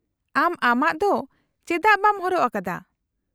-ᱟᱢ ᱟᱢᱟᱜ ᱫᱚ ᱪᱮᱫᱟᱜ ᱵᱟᱢ ᱦᱚᱨᱚᱜ ᱟᱠᱟᱫᱟ ?